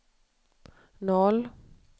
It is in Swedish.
noll